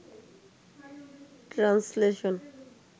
translation